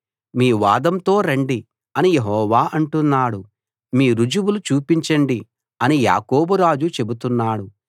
మీ వాదంతో రండి అని యెహోవా అంటున్నాడు మీ రుజువులు చూపించండి అని యాకోబు రాజు చెబుతున్నాడు